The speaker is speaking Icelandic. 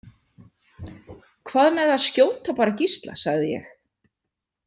Hvað með að skjóta bara Gísla, sagði ég.